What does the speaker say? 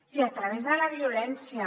i a través de la violència